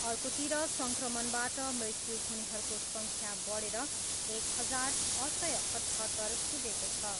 अर्कोतिर सङ्क्रमणबाट मृत्यु हुनेहरूको सङ्ख्या बढेर एक हजार, छ सय अठहत्तर पुगेको छ।